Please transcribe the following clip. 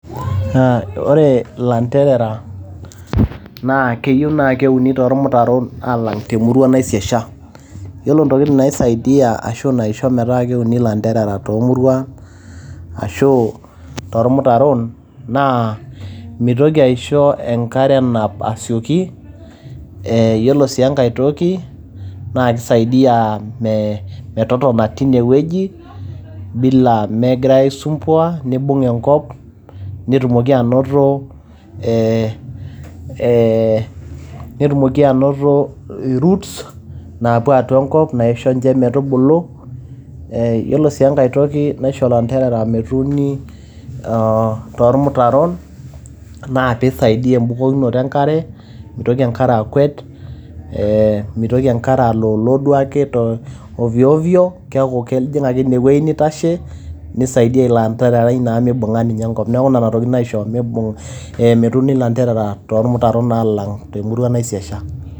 Naa, ore ilanterera naa keyieu naa keuni too lmutaron alang te murua naisiasha. Yiolo ntokitin naisaidia ashu naisho metaa keuni ilanterera too muruan ashu too ilmutaron naa mitoki aisho enkare asioki. Yiolo sii enkae toki naa keisaidia me, metotona teine wueji bila megirai aisumpua nibung enkop netumoki anoto ee ee netumoki anoto i roots naapuo atua enkop naisho ninche metubulu. Yiolo sii enkae toki naisho ilanterera metuuni too ilmutaron naa pee eisaidia e`bukokinoto e nkare meitoki enkare akwet ee meitoki enkare aloolo duake te ovyo ovyo keaku kejing ake ine wueji neitashe. Nisaidia ilo antererai meibung`a naa enkop niaku nena tokitin naisho metuuni ilanterera too ilmutaron alang te murua naisiasha.